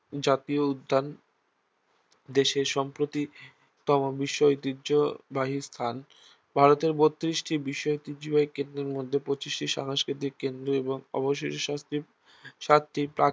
জাতীয় উদ্যান দেশের সাম্প্রতিকতম বিশ্ব ঐতিহ্যবাহী স্থান ভারতের বত্রিশটি বিশ্ব ঐতিহ্যবাহী কেন্দ্রের মধ্যে পঁচিশটি সাংস্কৃতিক কেন্দ্র এবং অবশিষ্ট সাতটি সাতটি প্রাকৃ